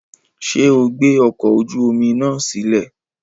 Ṣe o gbe ọkọ oju omi naa silẹ?